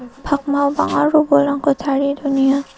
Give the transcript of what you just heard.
pakmao bang·a robolrangko tarie donenga.